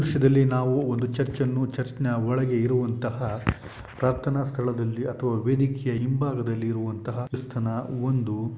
ದೃಶ್ಯದಲ್ಲಿ ನಾವು ಒಂದು ಚರ್ಚನ್ನು ಚರ್ಚ್ ನ ಒಳಗೆ ಇರುವಂತಹ ಪ್ರಾರ್ಥನಾ ಸ್ಥಳದಲ್ಲಿ ಅಥವಾ ವೇದಿಕೆ ಹಿಂಭಾಗದಲ್ಲಿ ಇರುವಂತಹ ಕ್ರಿಸ್ತನ ಒಂದು ಶಿಲುಬೆ.